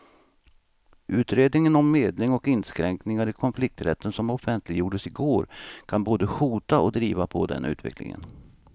Utredningen om medling och inskränkningar i konflikträtten som offentliggjordes i går kan både hota och driva på den utvecklingen.